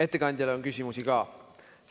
Ettekandjale on küsimusi ka.